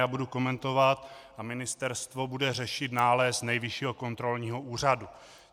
Já budu komentovat a Ministerstvo bude řešit nález Nejvyššího kontrolního úřadu.